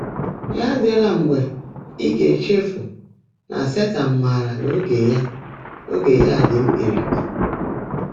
Yá ádị́lá mgbe ị́ gá-ècheèfú ná Sétan máárá ná óge yá óge yá ḍị́ mkpị́rị́kpị́.